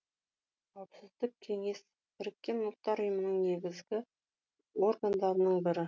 қауіпсіздік кеңесі біріккен ұлттар ұйымының негізгі органдарының бірі